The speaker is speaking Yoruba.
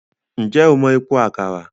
Ǹjẹ́ o mọ Epo Àkàrà?